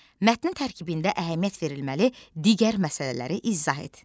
Mətnin tərkibində əhəmiyyət verilməli digər məsələləri izah et.